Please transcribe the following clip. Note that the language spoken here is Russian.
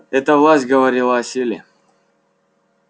эта власть говорила о силе